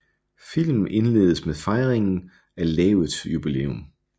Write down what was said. Filmen indledes med fejringen af lavets jubilæum